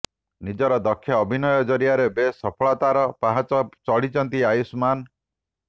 ନିଜର ଦକ୍ଷ ଅଭିନୟ ଜରିଆରେ ବେଶ୍ ସଫଳତାର ପାହାଚ ଚଢିଛନ୍ତି ଆୟୁଷ୍ମାନ୍